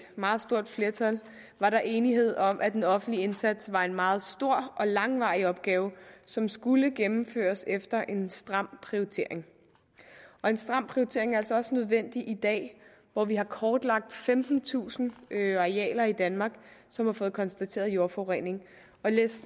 meget stort flertal var der enighed om at en offentlig indsats var en meget stor og langvarig opgave som skulle gennemføres efter en stram prioritering og en stram prioritering er altså også nødvendig i dag hvor vi har kortlagt femtentusind arealer i danmark som har fået konstateret jordforurening